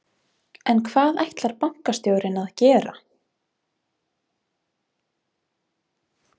En hvað ætlar bankastjórinn að gera?